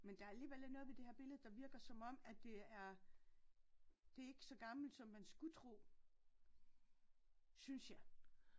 Men der er alligevel ikke noget ved det her billede der virker som om at det er det er ikke så gammelt som man skulle tro synes jeg